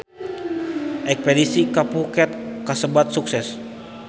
Espedisi ka Phuket kasebat sukses